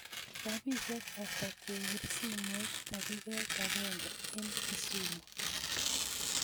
Rapisiek atak kepir simoit tagiget agange en Kisumu